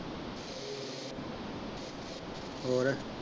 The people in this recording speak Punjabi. ਹੋਰ।